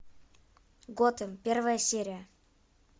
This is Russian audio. готэм первая серия